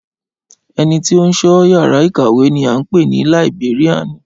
Ẹnití ó ń sọ yàrá ìkàwé ni à ń pè ni Làìbéríànì